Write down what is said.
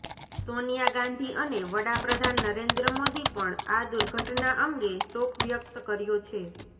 સોનિયા ગાંધી અને વડાપ્રધાન નરેન્દ્ર મોદી પણ આ દુર્ધટના અંગે શોક વ્યક્ત કર્યો છે